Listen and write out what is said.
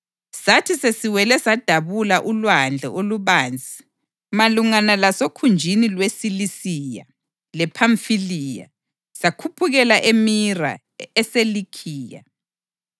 Sathi sesiwele sadabula ulwandle olubanzi malungana lasokhunjini lweSilisiya lePhamfiliya, sakhuphukela eMira eseLikhiya.